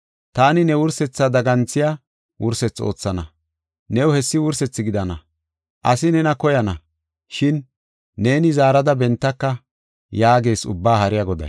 Taani ne wursethaa daganthiya wursethi oothana; new hessi wursethi gidana. Asi nena koyana; shin neeni zaarada bentaka” yaagees Ubbaa Haariya Goday.